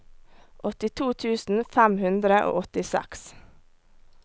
åttito tusen fem hundre og åttiseks